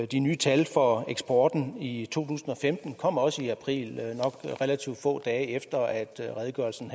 de nye tal for eksporten i to tusind og femten kom også i april nok relativt få dage efter at redegørelsen